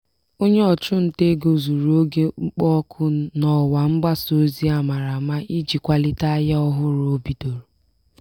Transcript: onye ọchụ nta ego zụrụ oge mkpọ oku n'ọwa mgbasa ozi a mara ama iji kwalite ahịa ọhụrụ o bidoro.